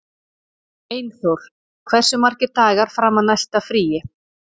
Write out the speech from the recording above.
Einþór, hversu margir dagar fram að næsta fríi?